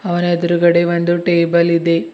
ಅವನ ಎದ್ರುಗಡೆ ಬಂದು ಟೇಬಲ್ ಇದೆ.